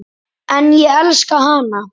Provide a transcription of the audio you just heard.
En ég elska hana.